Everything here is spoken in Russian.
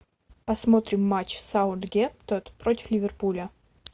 посмотрим матч саутгемптон против ливерпуля